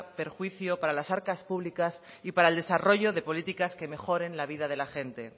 perjuicio para las arcas públicas y para el desarrollo de políticas que mejoren la vida de la gente